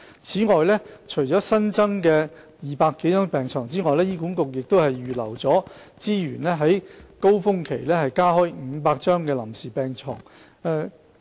此外，除了新增的200多張病床外，醫管局亦會預留資源於高峰期間加開500張臨時病床。